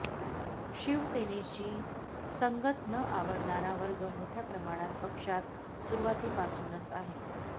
शिवसेनेशी संगत न आवडणारा वर्ग मोठ्या प्रमाणात पक्षात सुरवातीपासूनच आहे